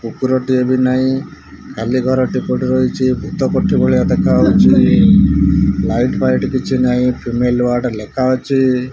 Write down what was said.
କୁକୁର ଟିଏ ବି ନାଇ ଖାଲି ଘରଟି ପଡ଼ି ପଡ଼ି ରହିଛି ଭୂତ କୋଠୀ ଭଳିଆ ଦେଖା ହେଉଛି ଲାଇଟ୍ ଫାଇଟ୍ କିଛି ନାଇ ଫିମେଲ ୱାର୍ଡ ଲେଖା ଅଛି।